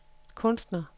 kunstner